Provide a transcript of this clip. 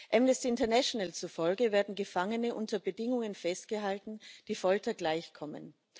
Amnesty International zufolge werden Gefangene unter Bedingungen festgehalten, die Folter gleichkommen.